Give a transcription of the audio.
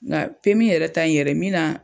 Nka yɛrɛ ta ni yɛrɛ min na.